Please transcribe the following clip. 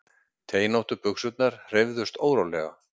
Teinóttu buxurnar hreyfðust órólega.